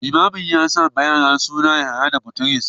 Limamin ya sa wa tagwayen suna Yahaya da Bitrus